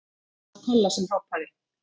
Það var Kolla sem hrópaði.